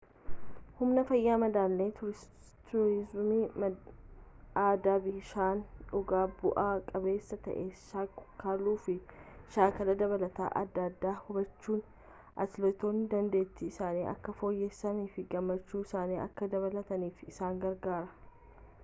humna fayyaa madaala'e tursiisuun aadaa bishaan dhuguu bu'a qabeessa ta'e shaakaluu fi shaakala dabalataa adda addaa hubachuun atileetoonni dandeettii isaanii akka fooyyessanii fi gammachuu isaanii akka dabalaniif isaan gargaaara